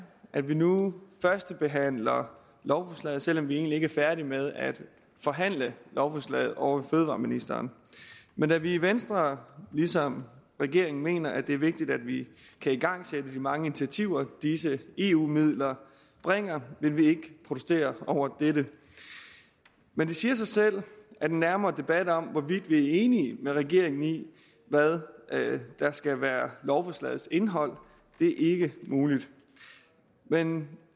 at vi nu førstebehandler lovforslaget selv om vi egentlig ikke er færdige med at forhandle lovforslaget ovre fødevareministeren men da vi i venstre ligesom regeringen mener at det er vigtigt at vi kan igangsætte de mange initiativer disse eu midler bringer vil vi ikke protesterer mod dette men det siger sig selv at en nærmere debat om hvorvidt vi er enige med regeringen i hvad der skal være lovforslagets indhold ikke er mulig men